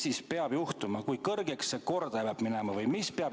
Mis peab juhtuma, kui kõrgeks see kordaja peab minema?